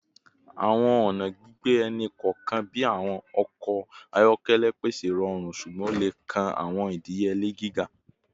Awọn ọna gbigbe ẹni kọọkan bi awọn ọkọ ayọkẹlẹ pese irọrun ṣugbọn o le kan awọn idiyele giga